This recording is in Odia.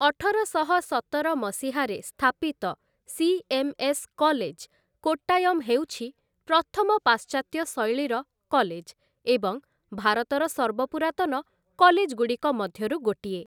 ଅଠରଶହ ସତର ମସିହାରେ ସ୍ଥାପିତ ସିଏମ୍‌ଏସ୍‌ କଲେଜ, କୋଟ୍ଟାୟମ୍ ହେଉଛି ପ୍ରଥମ ପାଶ୍ଚାତ୍ୟ ଶୈଳୀର କଲେଜ ଏବଂ ଭାରତର ସର୍ବପୁରାତନ କଲେଜ୍‌ଗୁଡ଼ିକ ମଧ୍ୟରୁ ଗୋଟିଏ ।